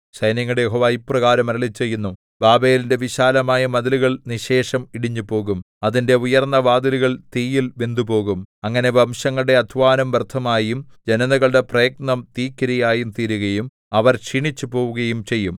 സൈന്യങ്ങളുടെ യഹോവ ഇപ്രകാരം അരുളിച്ചെയ്യുന്നു ബാബേലിന്റെ വിശാലമായ മതിലുകൾ നിശ്ശേഷം ഇടിഞ്ഞുപോകും അതിന്റെ ഉയർന്ന വാതിലുകൾ തീയിൽ വെന്തുപോകും അങ്ങനെ വംശങ്ങളുടെ അദ്ധ്വാനം വ്യർത്ഥമായും ജനതകളുടെ പ്രയത്നം തീക്കിരയായും തീരുകയും അവർ ക്ഷീണിച്ചുപോകുകയും ചെയ്യും